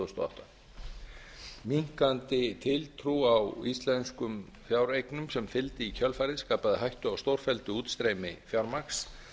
þúsund og átta minnkandi tiltrú á íslenskum fjáreignum sem fylgdi í kjölfarið skapaði hættu á stórfelldu útstreymi fjármagns